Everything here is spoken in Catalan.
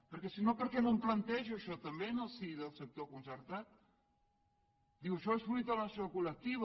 perquè si no per què no em planteja això també en el si del sector concertat diu això és fruit de l’acció col·lectiva